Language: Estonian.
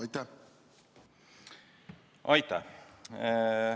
Aitäh!